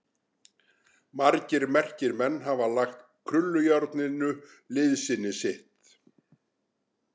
Margir merkir menn hafa lagt krullujárninu liðsinni sitt.